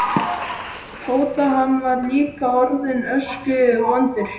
Tóta, hann var líka orðinn öskuvondur.